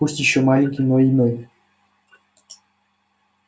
пусть ещё маленький но иной